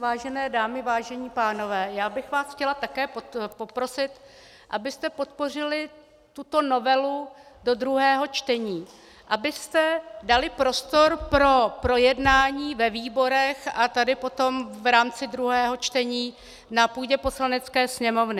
Vážené dámy, vážení pánové, já bych vás chtěla také poprosit, abyste podpořili tuto novelu do druhého čtení, abyste dali prostor pro projednání ve výborech a tady potom v rámci druhého čtení na půdě Poslanecké sněmovny.